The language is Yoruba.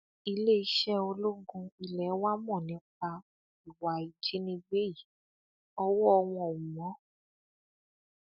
iléeṣẹ ológun ilé wa mọ nípa ìwà ìjínigbé yìí ọwọ wọn ò mọ